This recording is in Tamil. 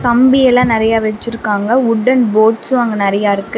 கம்பி எல்லா நெறையா வச்சிருக்காங்க வுட்டன் போட்ஸ்சு அங்க நிறைய இருக்கு.